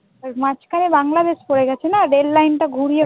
ওই মাঝখানে বাংলাদেশ পড়ে গেছে না, রেললাইনটা ঘুরিয়ে